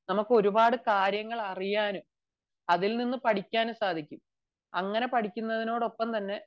നമുക്ക് ഒരുപാട് കാര്യങ്ങൾ അറിയാനും അതിൽനിന്നു പഠിക്കാനും സാധിക്കും അങ്ങനെ പടിക്കുന്നതിനോട് ഒപ്പംതന്നെ